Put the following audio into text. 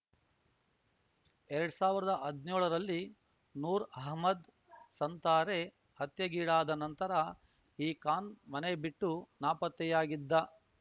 ಎರಡ್ ಸಾವ್ರ್ದ ಅದ್ನ್ಯೋಳರಲ್ಲಿ ನೂರ್ ಅಹಮದ್ ಸಂತಾರೆ ಹತ್ಯೆಗೀಡಾದ ನಂತರ ಈ ಖಾನ್ ಮನೆ ಬಿಟ್ಟು ನಾಪತ್ತೆಯಾಗಿದ್ದ